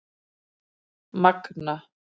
Magna